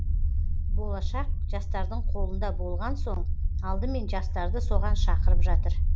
болшақ жастардың қолында болған соң алдымен жастарды соған шақырып жатыр